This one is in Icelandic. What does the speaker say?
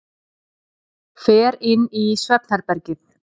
Fer inn í svefnherbergið.